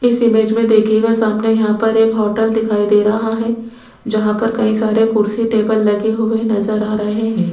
इस इमेज में देखिएगा सामने यहां पर एक होटल दिखाई दे रहा है जहां पर कई सारे कुर्सी टेबल लगे हुए नजर आ रहे है।